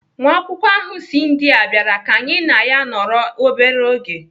Nwa akwụkwọ ahụ si India bịara ka anyị na ya nọrọ obere oge.